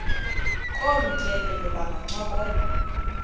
kolu tyelelo bangancokola